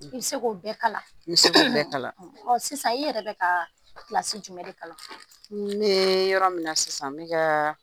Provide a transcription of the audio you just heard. I bɛ se k'o bɛɛ kalan , ɔ sisan i yɛrɛ bɛ ka kilasi jumɛn de kalan, n ne ye yɔrɔ min na sisan n bɛ ka